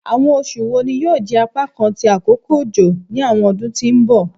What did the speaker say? Awọn oṣu wo ni yoo jẹ apakan ti akoko ojo ni awọn ọdun ti n bọ?